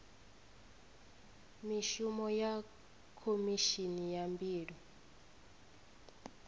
mishumo ya khomishini ya mbilo